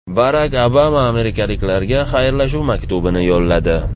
Barak Obama amerikaliklarga xayrlashuv maktubini yo‘lladi.